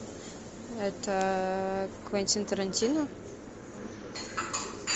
это квентин тарантино